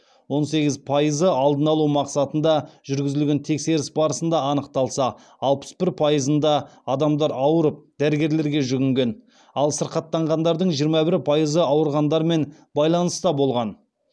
он сегіз пайызы алдын алу мақсатында жүргізілген тексеріс барысында анықталса алпыс бір пайызында адамдар ауырып дәрігерлерге жүгінген ал сырқаттанғандардың жиырма бір пайызы ауырғандармен байланыста болған